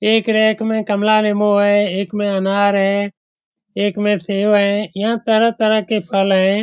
एक रैक मे कमला रीमू हेय एक मे अनार है एक मे सेब है यहां तरह-तरह के फल है।